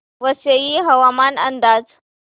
वसई हवामान अंदाज